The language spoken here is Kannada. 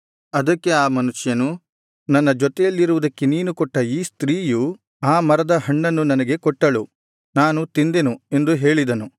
ಅದಕ್ಕೆ ಆ ಮನುಷ್ಯನು ನನ್ನ ಜೊತೆಯಲ್ಲಿರುವುದಕ್ಕೆ ನೀನು ಕೊಟ್ಟ ಈ ಸ್ತ್ರೀಯು ಆ ಮರದ ಹಣ್ಣನ್ನು ನನಗೆ ಕೊಟ್ಟಳು ನಾನು ತಿಂದೆನು ಎಂದು ಹೇಳಿದನು